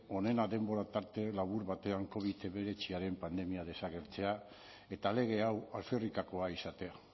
onena denboratarte labur batean covid hemeretziaren pandemia desagertzea eta lege hau alferrikakoa izatea